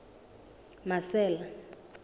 marcel